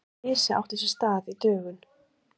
Slysið átti sér stað í dögun